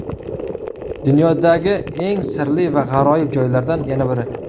Dunyodagi eng sirli va g‘aroyib joylardan yana biri.